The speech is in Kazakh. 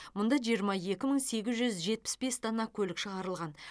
мұнда жиырма екі мың сегіз жүз жетпіс бес дана көлік шығарылған